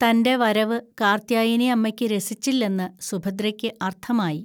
തൻ്റെ വരവ് കാർത്യായനി അമ്മയ്ക്ക് രസിച്ചില്ലെന്ന് സുഭദ്രയ്ക്ക് അർത്ഥമായി.